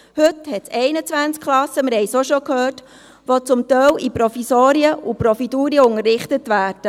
Heute umfasst es 21 Klassen – wir haben es schon gehört –, die zum Teil in Provisorien und «Providurien» unterrichtet werden.